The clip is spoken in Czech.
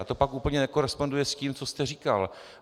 A to pak úplně nekoresponduje s tím, co jste říkal.